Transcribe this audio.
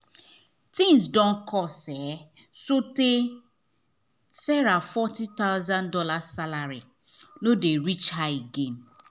things don cost so tey sarah forty thousand dollars salary no dey reach her again